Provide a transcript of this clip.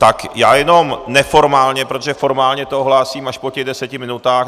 Tak já jenom neformálně, protože formálně to ohlásím až po těch deseti minutách.